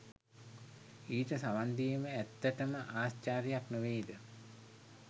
ඊට සවන් දීම ඇත්තටම ආශ්චර්යයක් නොවේද?